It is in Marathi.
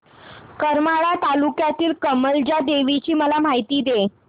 करमाळा तालुक्यातील कमलजा देवीची मला माहिती दे